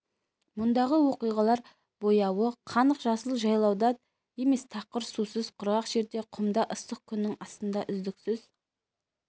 мұндағы оқиғалар бояуы қанық жасыл жайлауда емес тақыр сусыз құрғақ жерде құмда ыстық күннің астында үздіксіз